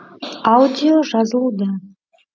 аудио жазылуда